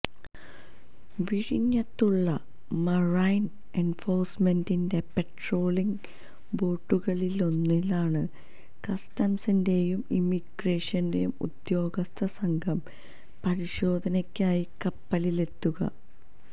വിഴിഞ്ഞത്തുള്ള marine എന്ഫോഴ്സ്മെന്റിന്റെ patrolling ബോട്ടുകളിലൊന്നിലാണ് കസ്റ്റംസിന്റെയും ഇമിഗ്രേഷന്റെയും ഉദ്യോഗസ്ഥ സംഘം പരിശോധനയ്ക്കായി കപ്പലിലെത്തുക